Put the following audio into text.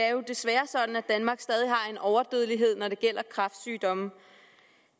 er jo desværre sådan at danmark stadig har en overdødelighed når det gælder kræftsygdomme